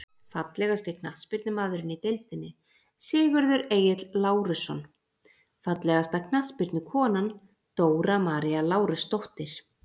Fallegasti knattspyrnumaðurinn í deildinni: Sigurður Egill Lárusson Fallegasta knattspyrnukonan: Dóra María Lárusdóttir.